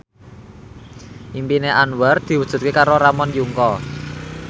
impine Anwar diwujudke karo Ramon Yungka